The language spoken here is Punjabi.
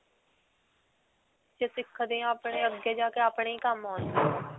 ਜੇ ਸਿੱਖਦੇ ਹਾਂ ਤੇ ਆਪਣੇ ਅੱਗੇ ਜਾ ਕੇ ਹੀ ਕੰਮ ਆਉਣਾ.